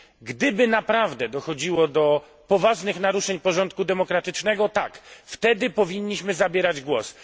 Gdyby naprawdę dochodziło do poważnych naruszeń porządku demokratycznego, wtedy powinniśmy zabierać głos.